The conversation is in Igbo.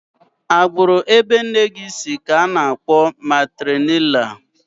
Agbụrụ ebe nne si ka bekee na-akpọ matrilinịal